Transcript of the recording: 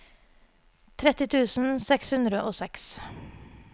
tretti tusen seks hundre og seks